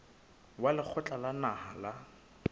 wa lekgotla la naha la